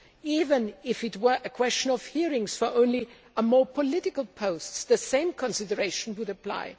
Even if it were a question of hearings only for a more political post, the same consideration would apply.